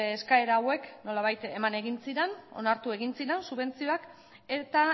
eskaera hauek nolabait eman egin ziren onartu egin ziren subentzioak eta